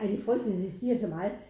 Ej det frygteligt at de stiger så meget